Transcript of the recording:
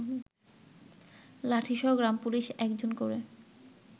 লাঠিসহ গ্রামপুলিশ একজন করে